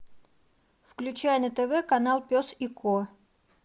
включай на тв канал пес и ко